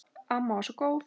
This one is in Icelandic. Amma var svo góð.